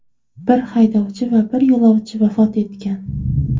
Bir haydovchi va bir yo‘lovchi vafot etgan.